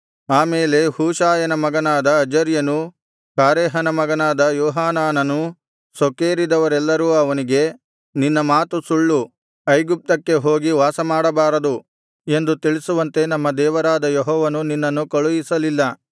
ಆಮೇಲೆ ಹೋಷಾಯನ ಮಗನಾದ ಅಜರ್ಯನೂ ಕಾರೇಹನ ಮಗನಾದ ಯೋಹಾನಾನನೂ ಸೊಕ್ಕೇರಿದವರೆಲ್ಲರೂ ಅವನಿಗೆ ನಿನ್ನ ಮಾತು ಸುಳ್ಳು ಐಗುಪ್ತಕ್ಕೆ ಹೋಗಿ ವಾಸಮಾಡಬಾರದು ಎಂದು ತಿಳಿಸುವಂತೆ ನಮ್ಮ ದೇವರಾದ ಯೆಹೋವನು ನಿನ್ನನ್ನು ಕಳುಹಿಸಲಿಲ್ಲ